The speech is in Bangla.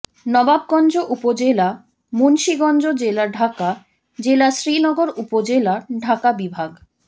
নবাবগঞ্জ উপজেলা মুন্সীগঞ্জ জেলা ঢাকা জেলা শ্রীনগর উপজেলা ঢাকা বিভাগ